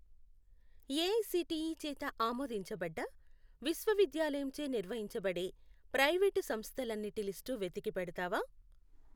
AICTE చేత ఆమోదించబడ్డ విశ్వవిద్యాలయంచే నిర్వహించబడే ప్రైవేటు సంస్థలన్నిటి లిస్టు వెతికి పెడతావా?